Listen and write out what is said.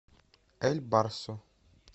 эль барсо